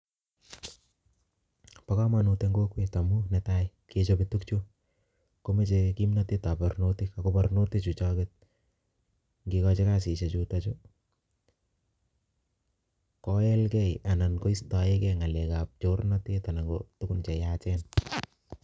Bo komonut eng' kokwet amuu netai, ng'echope tugukchu, komechei kimnatetab barnotik, ago barnotik chuchoket, ngekochi kasishiek chutochu, koelgee anan koistoegei ng'alekab chornatet anan ko tuguk che yaachen